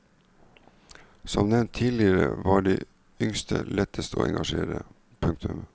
Som nevnt tidligere var de yngste lettest å engasjere. punktum